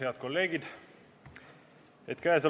Head kolleegid!